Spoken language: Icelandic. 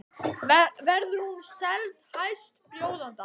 Verður hún seld hæstbjóðanda?